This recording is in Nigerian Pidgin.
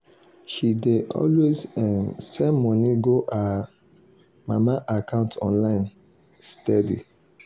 she dey always um send money go her um mama account online um steady.